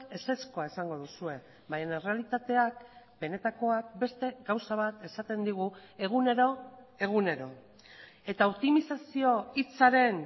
ezezkoa esango duzue baina errealitateak benetakoak beste gauza bat esaten digu egunero egunero eta optimizazio hitzaren